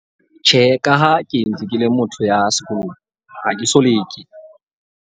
Tjhe, ka ha ke entse ke le motho ya sekolong, ha ke so leke.